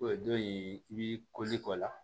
O don in i b'i o la